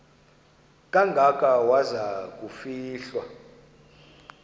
kangaka waza kufihlwa